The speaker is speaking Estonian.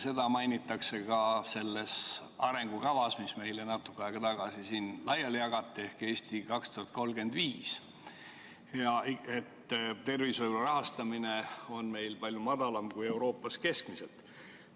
Seda mainitakse ka selles arengukavas, mis meile natuke aega tagasi siin laiali jagati, "Eesti 2035", milles öeldakse, et tervishoiu rahastamine on meil palju väiksem kui Euroopas keskmiselt.